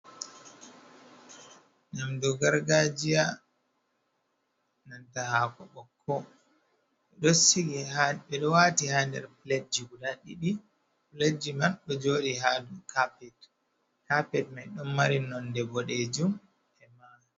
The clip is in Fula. Nyamdu gargajiya nanta haako ɓokko ɗo sigi ɓe ɗo waati ha nder pilet guda ɗiɗi, pilet man ɗo jooɗi ha doo kapet, kapet mai ɗon mari nonde boɗejum e mana.